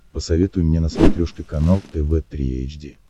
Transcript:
посоветуй мне на смотрешке канал тв три эйч ди